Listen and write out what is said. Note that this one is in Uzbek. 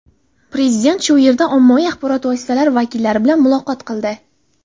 Prezident shu yerda ommaviy axborot vositalari vakillari bilan muloqot qildi.